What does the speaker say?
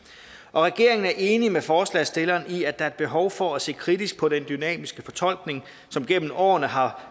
regeringen er enig med forslagsstillerne i at der er behov for at se kritisk på den dynamiske fortolkning som gennem årene har